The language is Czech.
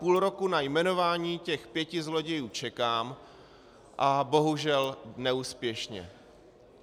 Půl roku na jmenování těch pěti zlodějů čekám a bohužel neúspěšně.